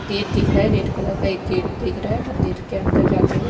Gate दिख रहा है रेड कलर का एक गेट दिख रहा हैं मंदिर के अंदर जाते हुए।